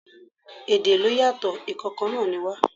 Èdè ló yàtò, ǹ kan kan náà ni wá.